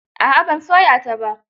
A'a ban soya ta ba.